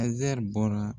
Azɛri bɔra